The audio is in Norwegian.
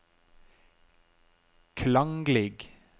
klanglig